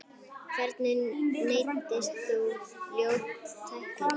Hvernig meiddist þú, ljót tækling?